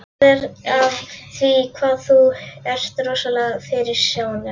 Það er af því hvað þú ert rosalega fyrirsjáanlegur.